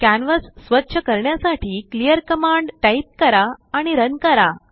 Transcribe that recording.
canvas स्वच्छ करण्यासाठी clear command type कराआणि रन करा